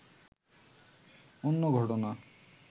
অন্য ঘটনা